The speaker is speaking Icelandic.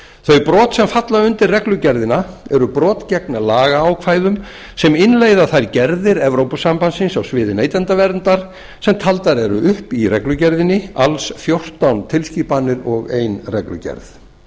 þau brot sem falla undir reglugerðina eru brot gegn lagaákvæðum sem innleiða þær gerðir evrópusambandsins á sviði neytendaverndar sem taldar eru upp í reglugerðinni alls fjórtán tilskipanir og ein reglugerð